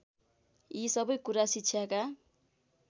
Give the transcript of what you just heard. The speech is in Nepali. यी सबै कुरा शिक्षाका